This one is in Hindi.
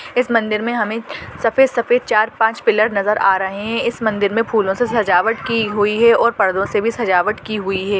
इस मंदिर मे हमे सफेद सफेद चार पाँच पिल्लर नजर आ रहे है इस मंदिर में फूलों से सजावट की हुई है और पर्दो से भी सजवाट की हुई है।